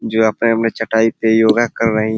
जो अपने अपने चटाई पे योगा कर रही --